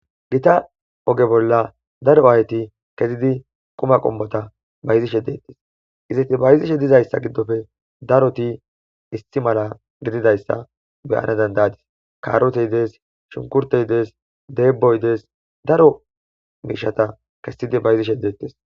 gita oge bolla daro ayti kezidi quma qommota bayizishe dettes izeti bayizishe dizayssa giddofe daroti isti mala gididayssa beyana dandayadis kaarote idees shunkurteyidees deeboydees daro miishata kessidi bayizishedettes